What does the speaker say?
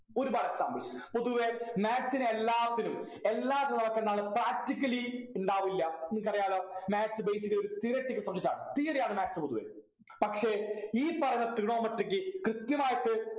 ഒരുപാട് examples പൊതുവെ maths നെ എല്ലാത്തിനും എല്ലാ എന്താണ് practically ഉണ്ടാവില്ല നിങ്ങൾക്കറിയാല്ലോ maths basically theoretical subject ആണ് theory ആണ് maths പൊതുവെ പക്ഷെ ഈ പറഞ്ഞ trigonometry ക്ക് കൃത്യമായിട്ട്